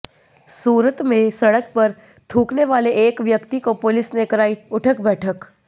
सूरत में सड़क पर थूकने वाले एक व्यक्ति को पुलिस ने कराई उठक बैठक